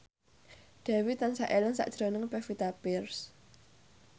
Dewi tansah eling sakjroning Pevita Pearce